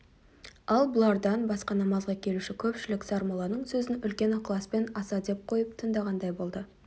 ал бұлардан басқа намазға келуші көпшілік сармолланың сөзін үлкен ықыласпен аса ден қойып тыңдағандай болды